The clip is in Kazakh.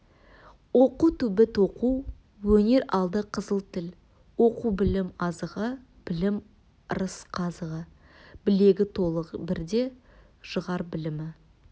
оқу түбі тоқу өнер алды қызыл тіл оқу білім азығы білім ырыс қазығы білегі толық бірді жығар білімі